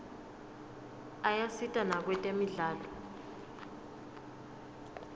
ayasita nakwetemidlalo